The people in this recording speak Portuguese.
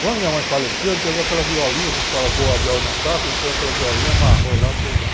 Quando minha mãe faleceu, ele pegou aquela violinha, como se fala boa viola num saco, ele pois aquela violinha, amarrou lá, pois lá.